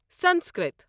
Sanskrit